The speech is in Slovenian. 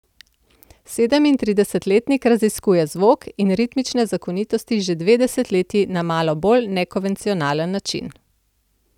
Sedemintridesetletnik raziskuje zvok in ritmične zakonitosti že dve desetletji na malo bolj nekonvencionalen način.